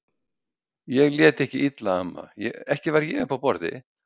Ég lét ekki illa amma, ekki var ég uppi á borði